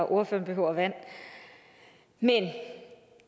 ordføreren behøver vand men